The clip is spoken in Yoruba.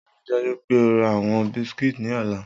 Rii daju pe o ra awọn biscuits ni ọla!